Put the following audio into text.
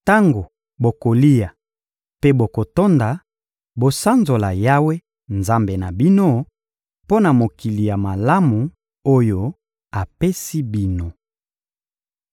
Tango bokolia mpe bokotonda, bosanzola Yawe, Nzambe na bino, mpo na mokili ya malamu oyo apesi bino.